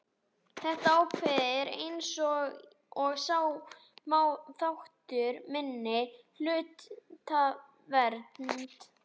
Þetta ákvæði er eins og sjá má þáttur í minnihlutavernd.